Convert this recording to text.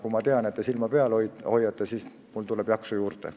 Kui ma tean, et te silma peal hoiate, siis mul tuleb jaksu juurde.